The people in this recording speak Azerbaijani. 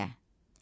Əsəri dinlə.